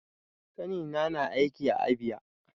Ƙanina na aiki a Abia.